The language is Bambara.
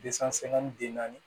den naani